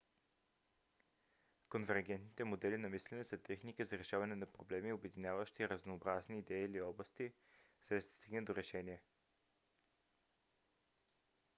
конвергентните модели на мислене са техники за решаване на проблеми обединяващи разнообразни идеи или области за да се стигне до решение